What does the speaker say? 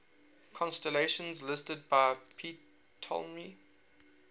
constellations listed by ptolemy